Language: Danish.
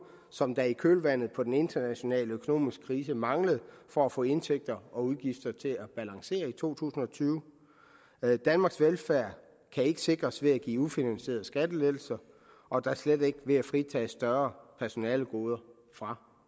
som der i kølvandet på den internationale økonomiske krise manglede for at få indtægter og udgifter til at balancere i to tusind og tyve danmarks velfærd kan ikke sikres ved at give ufinansierede skattelettelser og da slet ikke ved at fritage større personalegoder fra